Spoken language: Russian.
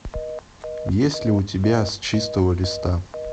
есть ли у тебя с чистого листа